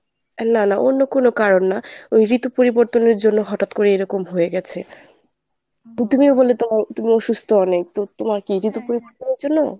না না অন্য কোনো কারণ না ঋতু পরিবর্তনের জন্য হঠাৎ করে এইরবম হয়ে গেছে। তো তুমিও বললে ত~ তুমি অসুস্থ অনেক তো তোমর কী জন্য?